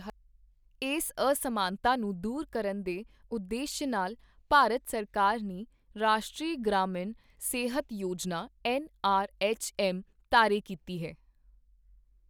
ਇਸ ਅਸਮਾਨਤਾ ਨੂੰ ਦੂਰ ਕਰਨ ਦੇ ਉਦੇਸ਼ ਨਾਲ ਭਾਰਤ ਸਰਕਾਰ ਨੇ ਰਾਸ਼ਟਰੀ ਗ੍ਰਾਮੀਣ ਸਿਹਤ ਯੋਜਨਾ ਐੱਨਆਰਐੱਚਐੱਮ ਤਾਰੇ ਕੀਤੀ ਹੈ।